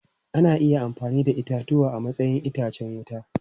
Ana iya amfani da itatuwa a matsayin itacen wuta.